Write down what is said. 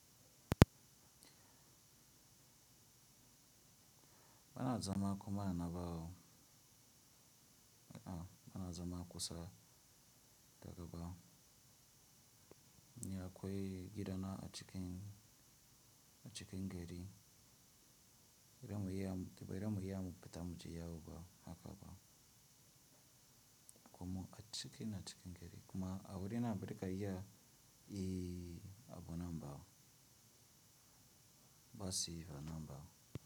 Wanadzama kumaana navo, wanadzama kusa daga va. Nyaya gidana acikin, gari iba ira muyamu peta mucheyavo vavo aka vavo. Koma achiken achikengeri kuma awiri na Amerika iya ii abo na mbavo. Basiva na mbavo.